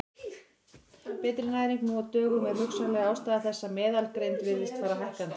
Betri næring nú á dögum er hugsanleg ástæða þess að meðalgreind virðist fara hækkandi.